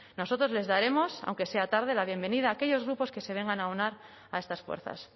nosotros les daremos aunque sea tarde la bienvenida a aquellos grupos que se vengan a aunar a estas fuerzas